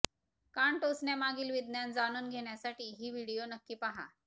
कान टोचण्यामागील विज्ञान जाणून घेण्यासाठी ही व्हिडिओ नक्की पाहा